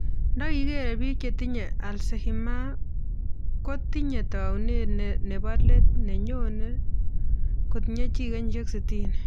Ndagigere biik che tinye alzehimers kpotinyee taunet nebaa late ne nyone kotinyee chii kenyishiek 60